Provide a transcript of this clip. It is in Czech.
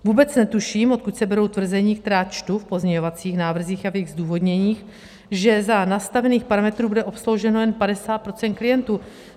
Vůbec netuším, odkud se berou tvrzení, která čtu v pozměňovacích návrzích a v jejich zdůvodněních, že za nastavených parametrů bude obslouženo jen 50 % klientů.